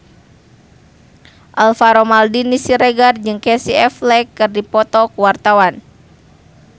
Alvaro Maldini Siregar jeung Casey Affleck keur dipoto ku wartawan